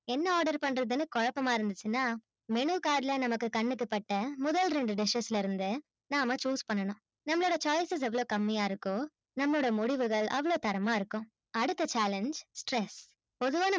என்ன order பண்றதுன்னு குழப்பமா இருந்துச்சுனா menu card ல நமக்கு கண்ணுக்கு பட்ட முதல் ரெண்டு dishes ல இருந்து நாம்ம choose பண்ணனும் நம்மளோட choices எவளோ கம்மியா இருக்கோ நம்மோட முடிவுகள் அவளோ தரமா இருக்கும் அடுத்த challenge stress பொதுவா நம்ம